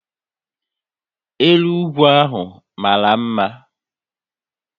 Elu ugwu ahụ mara mma